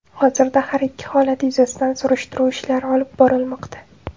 Hozirda har ikki holat yuzasidan surishtiruv ishlari olib borilmoqda.